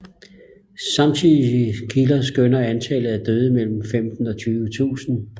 Samtidige kilder skønner antallet af døde til mellem femten og tyve tusinde